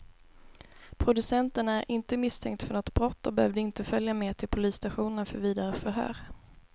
Producenten är inte misstänkt för något brott och behövde inte följa med till polisstationen för vidare förhör.